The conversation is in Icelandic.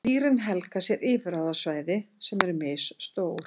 Dýrin helga sér yfirráðasvæði sem eru misstór.